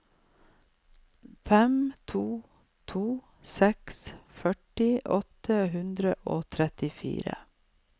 fem to to seks førti åtte hundre og trettifire